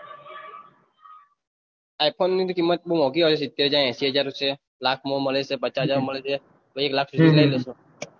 i phone ની તો કીમત બહુ મોગી આવે છે સીતેર હાજર હેસી હાર લાખ મો મળે છે પચાસ હાજર મો માંકલે છે એક લાખ સુધી લઇ લેશો